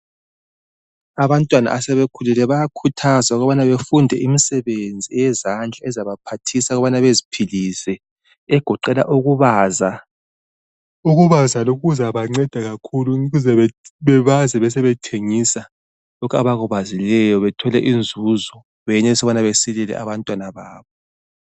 Abantwana asebekhulile bayakhuthazwa ukubana befunde imisebenzi eyezandla ezabaphathisa ukubana beziphilise egoqela ukubaza. Ukubaza lokhu kuzabanceda kakhulu ukuze bebaze besebethengisa lokhu abakubazileyo bethole inzuzo beyenelise ukubana besilele abantwana babo.